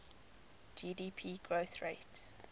gdp growth rate